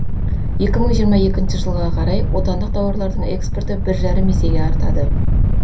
екі мың жиырма екінші жылға қарай отандық тауарлардың экспорты бір жарым есеге артады